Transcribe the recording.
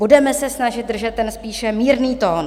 Budeme se snažit držet ten spíše mírný tón."